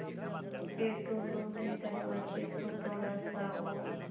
फ़िर टुल्लु ने दरवाज़े को थोड़ा सा और